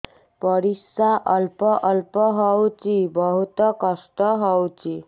ପରିଶ୍ରା ଅଳ୍ପ ଅଳ୍ପ ହଉଚି ବହୁତ କଷ୍ଟ ହଉଚି